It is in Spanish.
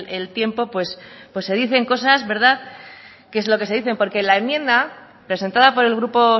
el tiempo pues se dicen cosas que es lo que se dicen porque la enmienda presentada por el grupo